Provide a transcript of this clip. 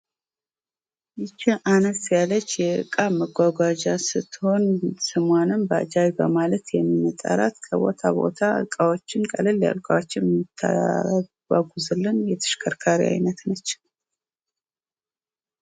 ይች አነስ ያለች የዕቃ ማጓጓዝ ስትሆን ስሟንም ባጃጅ በማለት የሚጠራት ከቦታ ቦታ እቃዎችን ቀልል ያሉ እቃዎችን የምታጓጉዝልን የተሽከርካሪ አይነት ነች